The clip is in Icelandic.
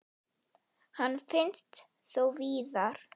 Hann finnst þó víðar.